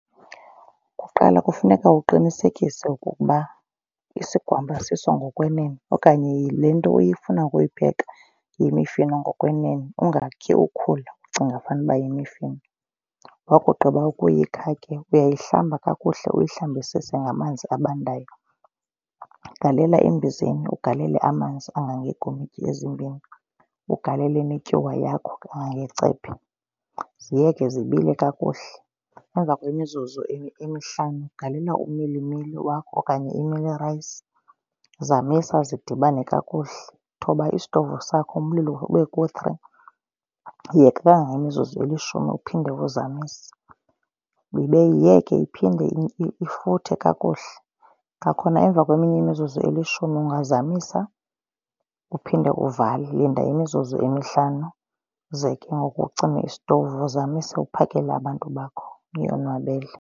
Kuqala kufuneka uqinisekise ukuba isigwamba siso ngokwenene okanye le nto ofuna ukuyipheka yeemifino ngokwenene. ungakhi ukhula ucinga fanuba yimifino. Wakugqiba ukuyikha ke uyayihlambe kakuhle uyihlambisise ngamanzi abandayo. Ugalele embizeni ugalele amanzi angangeekomityi ezimbini, ugalele netyuwa yakho engangecephe. Ziyeke zibile kakuhle emva kwemizuzu emihlanu galela umilimili wakho okanye imealie rice. Zamisa zidibane kakuhle, thoba isitovu sakho umlilo ube ku-three. Yeka kangangemizuzu elishumi uphinde uzamise. Yiyeke iphinde ifuthe kakuhle. Kwakhona emva kweminye imizuzu elishumi ungazamisa uphinde uvale. Linda imizuzu emihlanu ze ke ngoku ucime isitovu uzamise uphakele abantu bakho uyonwabele.